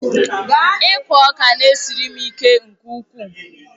Ịkụ ọka na-esiri m ike nke ukwuu.